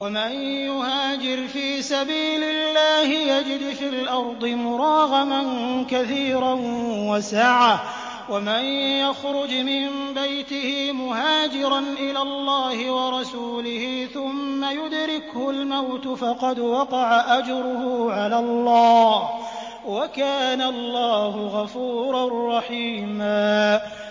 ۞ وَمَن يُهَاجِرْ فِي سَبِيلِ اللَّهِ يَجِدْ فِي الْأَرْضِ مُرَاغَمًا كَثِيرًا وَسَعَةً ۚ وَمَن يَخْرُجْ مِن بَيْتِهِ مُهَاجِرًا إِلَى اللَّهِ وَرَسُولِهِ ثُمَّ يُدْرِكْهُ الْمَوْتُ فَقَدْ وَقَعَ أَجْرُهُ عَلَى اللَّهِ ۗ وَكَانَ اللَّهُ غَفُورًا رَّحِيمًا